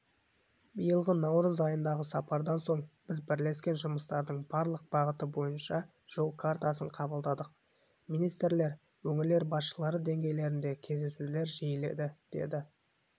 биылғы наурыз айындағы сапардан соң біз бірлескен жұмыстардың барлық бағыты бойынша жол картасын қабылдадық министрлер өңірлер басшылары деңгейіндегі кездесулер жиіледі деді